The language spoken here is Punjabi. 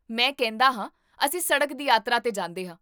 ਮੈਂ ਕਹਿੰਦਾ ਹਾਂ, ਅਸੀਂ ਸੜਕ ਦੀ ਯਾਤਰਾ 'ਤੇ ਜਾਂਦੇ ਹਾਂ